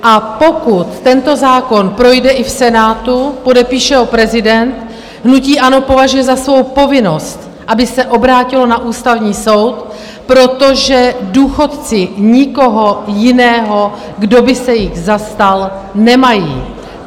A pokud tento zákon projde i v Senátu, podepíše ho prezident, hnutí ANO považuje za svou povinnost, aby se obrátilo na Ústavní soud, protože důchodci nikoho jiného, kdo by se jich zastal, nemají.